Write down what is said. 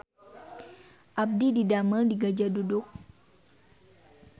Abdi didamel di Gajah Duduk